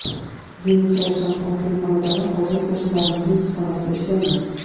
Yunus Ravshanovning xonadoni Hozir qo‘shnilarimizning issiqxonasida ishlayman.